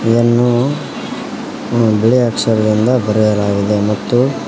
ಇದನ್ನು ಬಿಳಿ ಅಕ್ಷರದಿಂದ ಬರೆಯಲಾಗಿದೆ ಮತ್ತು--